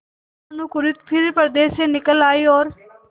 भानुकुँवरि फिर पर्दे से निकल आयी और